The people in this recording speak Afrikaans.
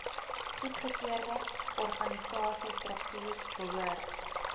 goedgekeurde organisasiestruktuur behoort